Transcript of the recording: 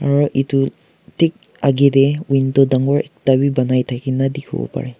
aru edu tek agey dey window dangor ekta bi banai thakina dikhibo parey.